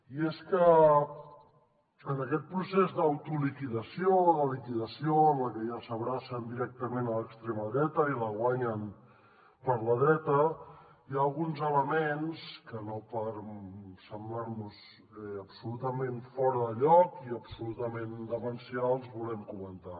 i és que en aquest procés d’autoliquidació o de liquidació en el que ja s’abracen directament a l’extrema dreta i la guanyen per la dreta hi ha alguns elements que no per semblar nos absolutament fora de lloc i absolutament demencials volem comentar